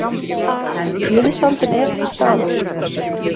Liðsandinn er til staðar.